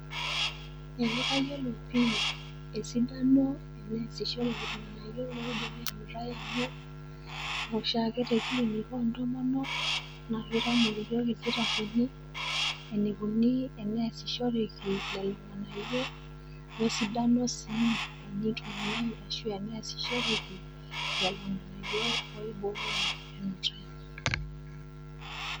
Eeh kayiolo pii esidano teneasishoreki ilng'anayio loibooyo enutai te klinik o ntomonok na keitamok iyook ilkitarini eneikuni teneasishoreki lelo ng'anayiok we sidano siii teneitumia aashu teneasishoreki lelo ng'anayo oibooyo enutai.